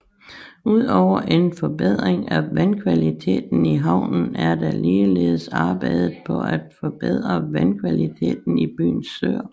Udover en forbedring af vandkvaliteten i havnen er der ligeledes arbejdet på at forbedre vandkvaliteten i byens søer